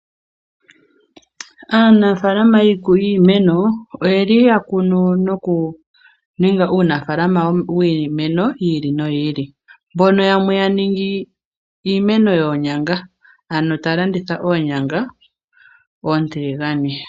Aanafaalama yiimeno oye li ya kunu noku ninga uunafaalama wiimeno yi ili noyi ili. Mbono yamwe ya ningi iimeno yoonyanga, ano ta ya landitha oonyanga oontiligane.